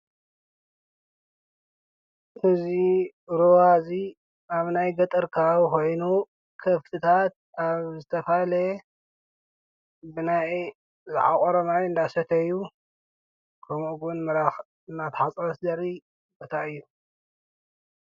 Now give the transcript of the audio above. ሕዙ ሮዋእዙ ኣብ ናይ ገጠርካ ኾይኑ ከፍትታት ኣብ ዝተፋለየ ብናይ ዝዓቖሮማይ እንዳሰተዩ ከምኡውን መራኽ እናትሓፃስደሪ በታይ እዩ።